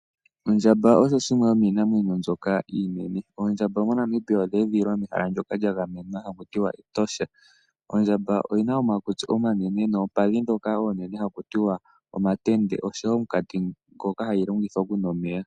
Ondjamba osho shimwe shomiinamwenyo mbyoka iinene. Oondjamba moNamibia odha edhililwa mehala ndyoka lya gamenwa haku tiwa Etosha. Oondjamba odhi na omakutsi omanene nomakondo ngoka omanene haku tiwa omatende noshowo omunkati ngoka hayi longitha okunwa omeya.